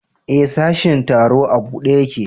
E, sashin tsaro a buɗe ƴaƙe.